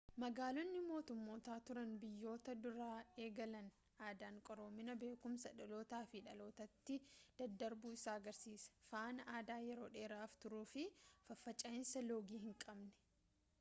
magaalonni-motummoota turan biyyoota dura eegalan aadaan qaroominaa beekumsi dhalootaa gara dhalootaatti daddarbuu isaa agarsiisa faana aadaa yeroo dheeraaf turuufi faffaca'iinsa loogii hinqabne